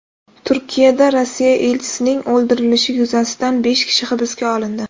Turkiyada Rossiya elchisining o‘ldirilishi yuzasidan besh kishi hibsga olindi.